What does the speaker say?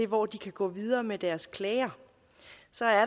hvor de kan gå videre med deres klager så er